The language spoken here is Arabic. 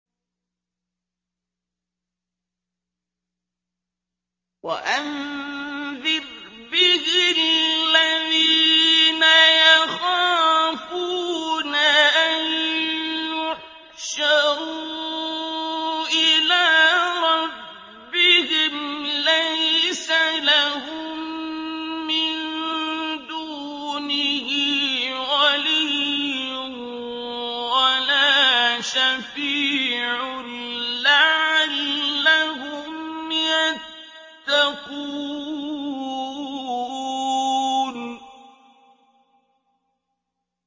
وَأَنذِرْ بِهِ الَّذِينَ يَخَافُونَ أَن يُحْشَرُوا إِلَىٰ رَبِّهِمْ ۙ لَيْسَ لَهُم مِّن دُونِهِ وَلِيٌّ وَلَا شَفِيعٌ لَّعَلَّهُمْ يَتَّقُونَ